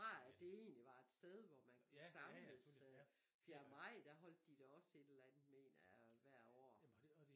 Fra at det egentlig var et sted hvor man kunne samles øh fjerde maj der holdt de da også et eller andet mener jeg hver år